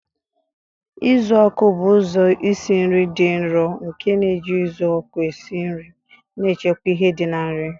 Uzuoku bụ ụzọ isi nri dị nro nke na-eji uzuoku esi nri, na-echekwa ihe ndi di na nri.